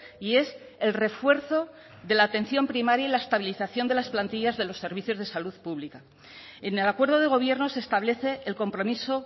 y es el refuerzo de la atención primaria y la estabilización de las plantillas de los servicios de salud pública en el acuerdo de gobierno se establece el compromiso